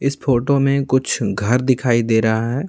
इस फोटो में कुछ घर दिखाई दे रहा है।